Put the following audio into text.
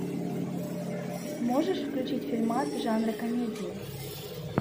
можешь включить фильмас жанра комедия